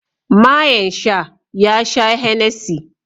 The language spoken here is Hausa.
mayen sha ya sha Hennessy